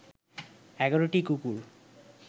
১১টি কুকুর